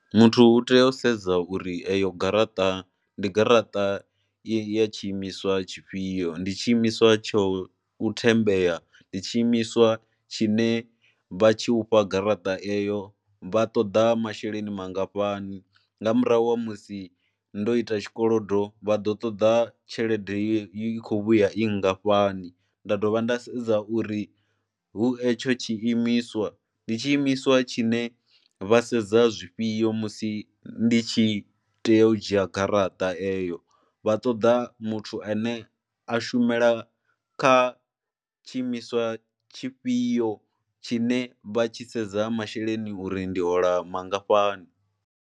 Muthu u tea u sedza uri eyo garaṱa ndi garaṱa i ya tshiimiswa tshifhio, ndi tshiimiswa tsho u thembea, ndi tshiimiswa tshine vha tshi u fha garaṱa eyo, vha ṱoḓa masheleni mangafhani nga murahu ha musi ndo ita tshikolodo vha ḓo ṱoḓa tshelede i khou vhuya i ngafhani nda dovha nda sedza uri hu etsho tshiimiswa ndi tshiimiswa tshine vha sedza zwifhio musi ndi tshi i tea u dzhia garaṱa eyo vha ṱoḓa muthu ane a shumela kha tshiimiswa tshifhio tshine vha tshi sedza masheleni uri ndi hola mangafhani.